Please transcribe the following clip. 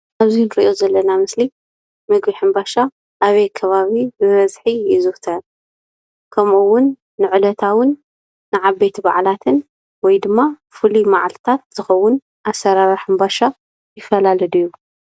እዙይ እንርእዮ ዘለና ምስሊ ምግቢ ሕንባሻ ኣበይ ከባቢ ብበዝሒ ይዝውተር? ከምኡ እውን ንዕለታዊን ንዓበይቲ ባዓላትን ወይ ድማ ፍሉይ መዓልታት ዝኸውን ኣሰራርሓ ሕንባሻ ይፈላለ ድዩ?